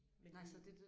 Men det